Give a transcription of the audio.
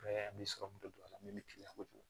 don a la min bɛ kiliyan kojugu